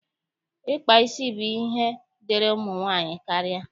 Ịkpa isi bụ ihe dịịrị ụmụ nwaanyị karịa.